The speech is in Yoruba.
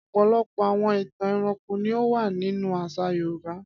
Ọ̀pọ̀lọpọ̀ àwọn ìtàn ẹranko ni ó wà nínú àṣà Yorùbá.